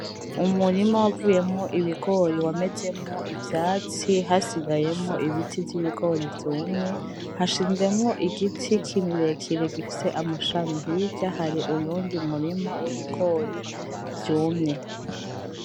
Umurima wavuyemwo ibigori wamezemwo ivyatsi, hasigayemwo ibiti vy'ibigori vyumye, hashinzemwo igiti kirekire gifise amashami. Hirya hari uwundi murima w'ibigori vyumye.